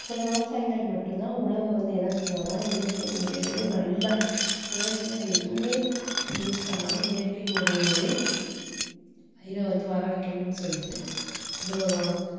சில விவசாயிகள் மட்டும் தான் உணவ வந்து என்ன செய்வாங்கன்னா இயற்கை முறையில நல்லா செயற்கையா எதுவுமே use பண்ணாம இயற்கை முறையிலேயே இதை வந்து வர வைக்கணும்னு சொல்லிட்டு கொண்டுவருவாங்க